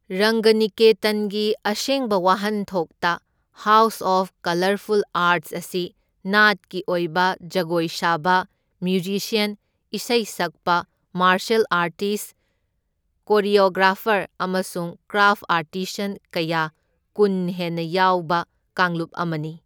ꯔꯪꯒꯅꯤꯀꯦꯇꯟꯒꯤ ꯑꯁꯦꯡꯕ ꯋꯥꯍꯟꯊꯣꯛꯇ house of colourful arts ꯑꯁꯤ ꯅꯥꯠꯀꯤ ꯑꯣꯏꯕ ꯖꯒꯣꯏ ꯁꯥꯕ, ꯃ꯭ꯌꯨꯖꯤꯁ꯭ꯌꯟ, ꯏꯁꯩ ꯁꯛꯄ, ꯃꯥꯔꯁꯦꯜ ꯑꯥꯔꯇꯤꯁꯠ, ꯀꯣꯔꯤꯑꯣꯒ꯭ꯔꯥꯐꯔ ꯑꯃꯁꯨꯡ ꯀ꯭ꯔꯥꯐ ꯑꯥꯔꯇꯤꯁꯟ ꯀꯌꯥ ꯀꯨꯟ ꯍꯦꯟꯅ ꯌꯥꯎꯕ ꯀꯥꯡꯂꯨꯞ ꯑꯃꯅꯤ꯫